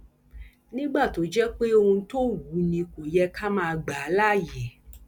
nígbà tó jẹ pé ohun tó wù ú ni kò yẹ ká má gbà á láàyè